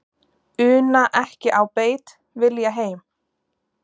Una ekki á beit, vilja heim.